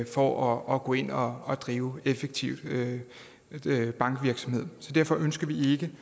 for at gå ind og drive effektiv bankvirksomhed så derfor ønsker vi